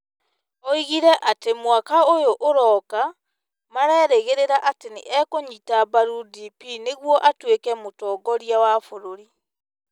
Oigire atĩ, mwaka ũyũ ũroka, marerĩgĩrĩra atĩ nĩ ekũnyita mbaru DP nĩguo atuĩke mũtongoria wa bũrũri.